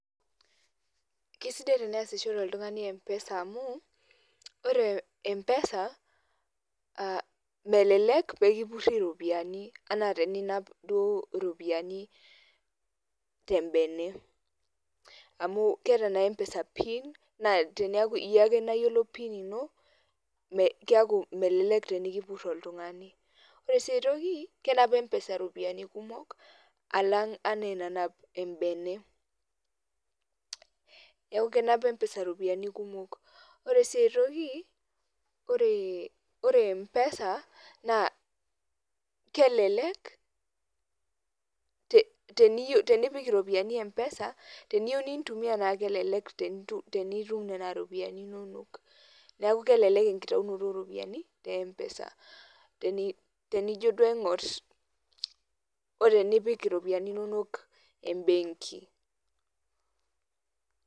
Kesidai teniasishore oltungani mpesa amu, ore mpesa melelek peekipuri iropiyiani enaa teninap duo iropiyiani tembene. Amu keeta naa mpesa pin naa teneaku iyie ake nayiolo pin ino keeku melelek tenikipur oltungani. Ore sii aitoki kenap mpesa iropiyiani kumok alang' etaa ina nanap embene. Neeku kenap mpesa iropiyiani kumok. Ore sii aitoki ore mpesa naa kelelek tenepik iropiyiani mpesa teniyieu nintumiya naa kelelek, tenenitum nena ropiyiani inonok. Neeku kelelek enkitayunoto oo ropiyiani tempesa, tenijo duo ainkor etiu enaa tenipik iropiyiani inono mbenki.